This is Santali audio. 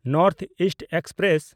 north East express